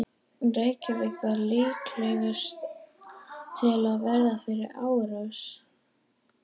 Reykjavík var líklegust til að verða fyrir árs.